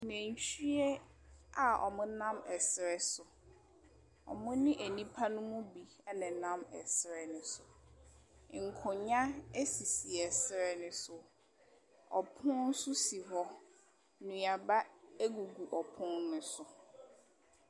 Nantwie a ɔmo nam ɛsrɛ so. Ɔmo ne nnipa no bi ɛna ɛnam ɛsrɛ ne so. Nkonya si ɛsrɛ ne so. Ɔpono nso si hɔ. Nnuaba agugu ɔpon no so.